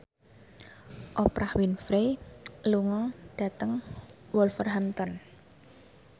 Oprah Winfrey lunga dhateng Wolverhampton